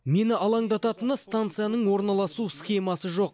мені алаңдататыны стансаның орналасу схемасы жоқ